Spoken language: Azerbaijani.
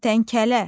Kərtənkələ.